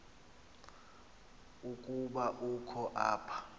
ukuba ukho apha